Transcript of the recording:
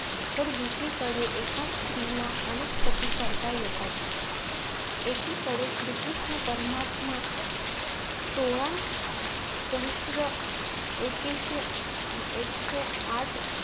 तर दुसरी कडे एका स्त्रीला अनेक पती करता येतात एकीकडे श्री कृष्ण परमात्मा सोळा सहस्त्र एकेशे एकशे आठ